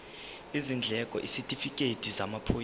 izindleko isitifikedi samaphoyisa